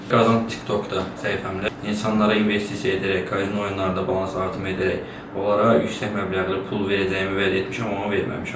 qazand TikTokda səhifəmdə insanlara investisiya edərək, kazino oyunlarında balans artımı edərək onlara yüksək məbləğli pul verəcəyimi vəd etmişəm, amma verməmişəm.